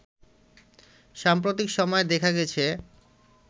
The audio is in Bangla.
সাম্প্রতিক সময়ে দেখা গেছে